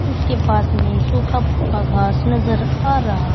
इसके पास मे सूखा फूका घास नजर आ रहा--